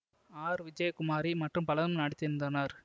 R Vijayakumari மற்றும் பலரும் நடித்திருந்தனர்